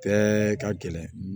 Bɛɛ ka gɛlɛn